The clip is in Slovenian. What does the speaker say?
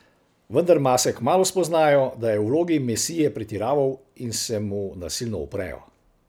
Vendar mase kmalu spoznajo, da je v vlogi mesije pretiraval in se mu nasilno uprejo.